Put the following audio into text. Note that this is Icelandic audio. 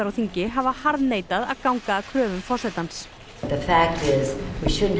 á þingi hafa harðneitað að ganga að kröfum forsetans Silja